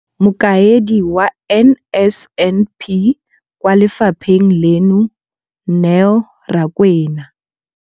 Mokaedi wa NSNP kwa lefapheng leno, Neo Rakwena.